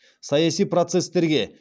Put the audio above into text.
саяси процестерге